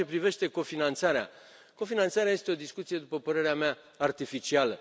În ceea ce privește cofinanțarea, cofinanțarea este o discuție, după părerea mea, artificială.